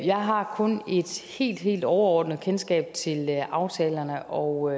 jeg har kun et helt helt overordnet kendskab til aftalerne og